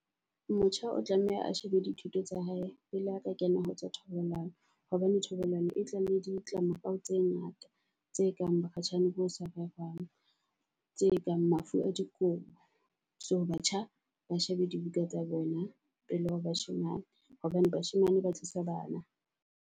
Motjha o tlameha a shebe di thuto tsa hae pele a ka kena ho tsa thobalano hobane thobalano e tla le di tlamorao tse ngata tse kang bokgatjhane bo sa rerwang, tse kang mafu a dikobo. So batjha ba shebe di buka tsa bona pele ho bashemane hobane bashemane ba tlisa bana.